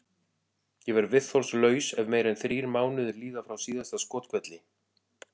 Ég verð viðþolslaus ef meira en þrír mánuðir líða frá síðasta skothvelli.